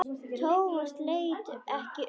Thomas leit ekki undan.